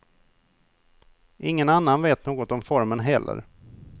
Ingen annan vet något om formen heller.